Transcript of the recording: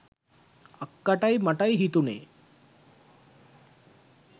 අක්කටයි මටයි හිතුනේ